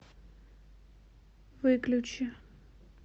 выключи